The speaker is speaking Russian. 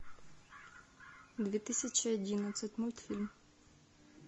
две тысячи одиннадцать мультфильм